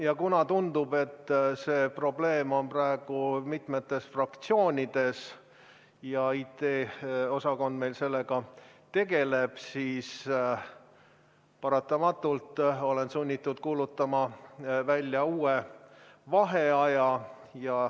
Ja kuna tundub, et see probleem on praegu mitmes fraktsioonis ja IT-osakond meil sellega tegeleb, siis paratamatult olen sunnitud kuulutama välja uue vaheaja.